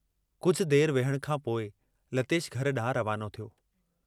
कुझ देर विहण खांपोइ लतेश घर डांहुं रवानो थियो।